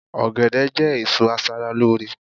ogede je èso aṣara lore